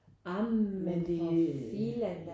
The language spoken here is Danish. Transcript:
Ej men for filan da